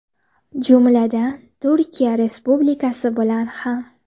Jumladan Turkiya Respublikasi bilan ham.